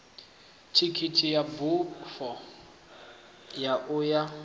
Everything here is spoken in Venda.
thikhithi ya bufho ya uya